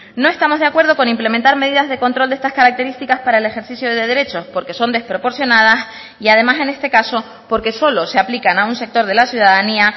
no estamos de acuerdo con implementar medidas de control de estas características para el ejercicio de derechos porque son desproporcionadas y además en este caso porque solo se aplican a un sector de la ciudadanía